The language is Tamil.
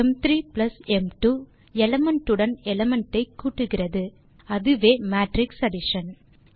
m3m2 எலிமெண்ட் உடன் எலிமெண்ட் ஐ கூட்டுகிறது அதுவே மேட்ரிக்ஸ் அடிஷன்